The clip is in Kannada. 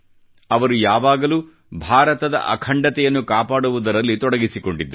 ಅವರು ಯಾವಾಗಲೂ ಭಾರತದ ಅಖಂಡತೆಯನ್ನು ಕಾಪಾಡುವುದರಲ್ಲಿ ತೊಡಗಿಸಿಕೊಂಡಿದ್ದರು